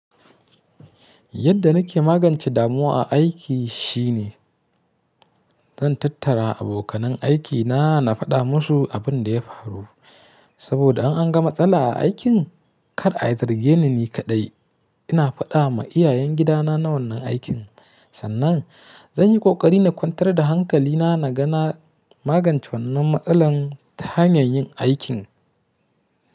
Yadda nake magance damuwa a aiki shine zan tattara abokanan aikina na faɗa musu abin da ya faru. Saboda in an ga matsala a aikin, kar a zarge ni ni kaɗai. Ina faɗa ma iyayen gidana wannan aikin sannan zan yi ƙoƙari na kwantar da hankali na, na ga na magance wannan matsalan ta hanyar yin aikin.